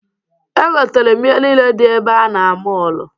Egotere m ihe niile dị ebe a na mọọlụ.